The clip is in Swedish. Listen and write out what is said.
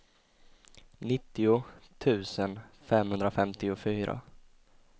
nittio tusen femhundrafemtiofyra